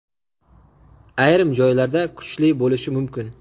ayrim joylarda kuchli bo‘lishi mumkin.